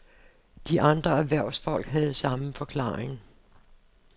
De andre erhvervsfolk havde samme forklaring.